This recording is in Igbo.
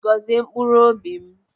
Gọzie mkpụrụ obi m.